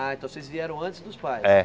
Ah, então vocês vieram antes dos pais. É